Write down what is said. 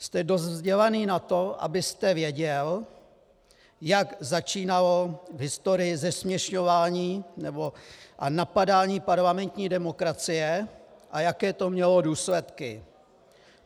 Jste dost vzdělaný na to, abyste věděl, jak začínalo v historii zesměšňování a napadání parlamentní demokracie a jaké to mělo důsledky.